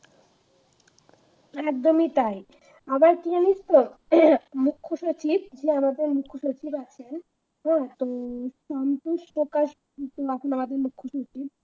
একদমই তাই আবার কি জানিস তো হম মুখ্য সচিব মানে আমাদের মুখ্য সচিব হ্যাঁ তো সম্পূর্ণ প্রকাশ মুখ্যসূচি